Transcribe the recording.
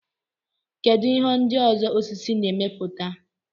kedụ ihe ndị ọzọ osisi na-emepụta